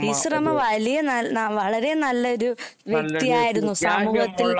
ടീച്ചറമ്മ വലിയ വളരെ നല്ലൊരു വ്യക്തിയായിരുന്നു സമൂഹത്തിൽ